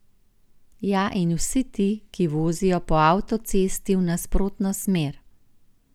Ja in vsi ti, ki vozijo po avtocesti v nasprotno smer.